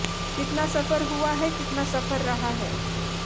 कितना सफ़र हुआ है कितना सफ़र रहा है